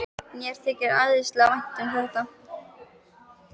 Mér þykir æðislega vænt um þetta.